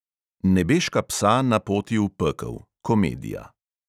Nebeška psa na poti v pekel, komedija.